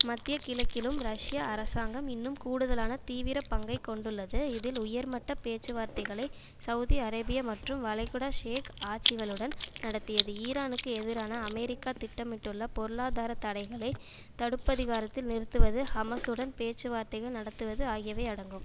மத்திய கிழக்கிலும் ரஷ்ய அரசாங்கம் இன்னும் கூடுதலான தீவிர பங்கை கொண்டுள்ளது இதில் உயர்மட்ட பேச்சுவார்த்தைகளை செளதி அரேபியா மற்றும் வளைகுடா ஷேக் ஆட்சிகளுடன் நடத்தியது ஈரானுக்கு எதிரான அமெரிக்கா திட்டமிட்டுள்ள பொருளாதார தடைகளை தடுப்பதிகாரத்தில் நிறுத்துவது ஹமசுடன் பேச்சு வார்த்தைகள் நடத்துவது ஆகியவை அடங்கும்